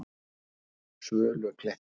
Svölukletti